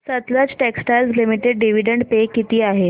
Sutlej textiles limited dividend pay किती आहे